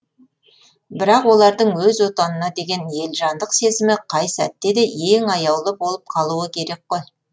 бірақ олардың өз отанына деген елжандық сезімі қай сәтте де ең аяулы болып қалуы керек қой